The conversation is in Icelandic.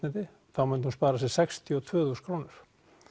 þá myndi hún spara sér sextíu og tvö þúsund krónur